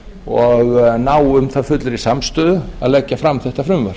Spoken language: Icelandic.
og ná um það fullri samstöðu að leggja fram þetta frumvarp